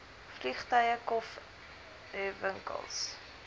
vliegtuie kof ewinkels